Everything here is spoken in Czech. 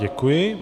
Děkuji.